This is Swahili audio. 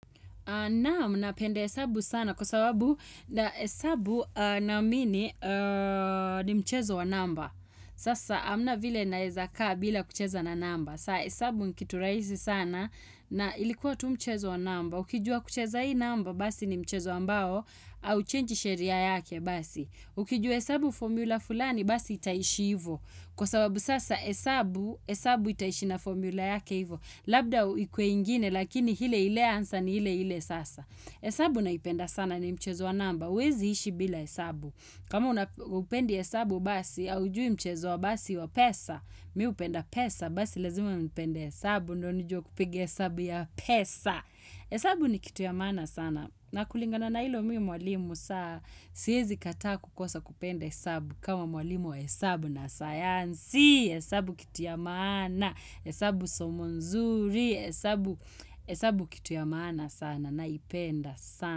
Naam napenda hesabu sana kwa sababu na heabu naamini ni mchezo wa namba. Sasa hamna vile nawezaka bila kucheza na namba. Saa hesabu ni kitu rahisi sana na ilikuwa tu mchezo wa namba. Ukijua kucheza hii namba basi ni mchezo ambao au change sheria yake basi. Ukijua hesabu formula fulani basi itaishi hivyo. Kwa sababu sasa esabu itaishi na formula yake hivyo. Labda ikue ingine lakini ile ile answer ni ile ile sasa hesabu naipenda sana ni mchezo wa namba hauwezi ishi bila hesabu kama hupendi hesabu basi haujui mchezo wa basi wa pesa mimi hupenda pesa basi lazima upende hesabu ndio nijue kupiga hesabu ya pesa hesabu ni kitu ya mana sana nakulingana na hilo mimi mwalimu saa Si hezi kataa kukosa kupenda hesabu kama mwalimu wa hesabu na sayansi hesabu kitu ya maana hesabu somo nzuri, hesabu kitu ya maana sana naipenda sana.